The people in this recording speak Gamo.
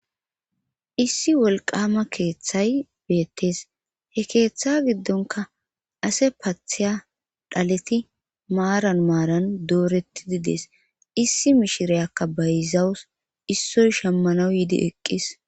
Issi wolqama keeththay beettees he keeththa giddonka ase paatheya dhaleti maaran maaran dooreti didees issi mishirayakka bayzawus issoy shemmanaw yiidi eqqis.